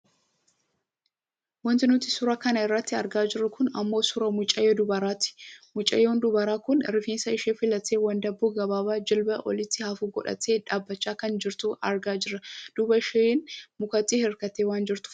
Wanti nuti suuraa kana irratti argaa jirru kun ammoo suuraa mucayyoo dubaraati. Mucayyoon dubaraa kun rifeensa ishee fillattee wandaboo gabaabaa jilbaa olitti hafu godhattee dhaabbachaa kan jirtu argaa jirra, duuba isheen mukaatti hirkattee waan jirtuu fakkattii.